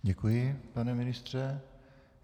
Děkuji, pane ministře.